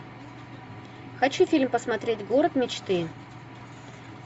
хочу фильм посмотреть город мечты